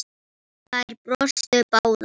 Þær brostu báðar.